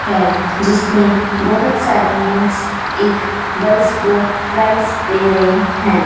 है जिसमें बहोत सारी मेंस एक गर्ल्स को प्राइस दे रहे हैं।